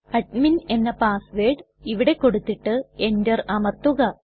admin എന്ന password ഇവിടെ കൊടുത്തിട്ട് എന്റർ അമർത്തുക